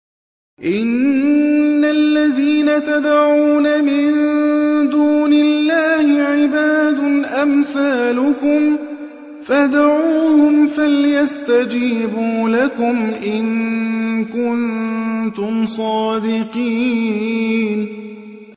إِنَّ الَّذِينَ تَدْعُونَ مِن دُونِ اللَّهِ عِبَادٌ أَمْثَالُكُمْ ۖ فَادْعُوهُمْ فَلْيَسْتَجِيبُوا لَكُمْ إِن كُنتُمْ صَادِقِينَ